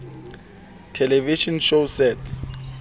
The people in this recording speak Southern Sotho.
television shows set